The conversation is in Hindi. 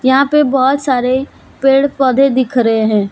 यहां पे बहोत सारे पेड़ पौधे दिख रहे हैं।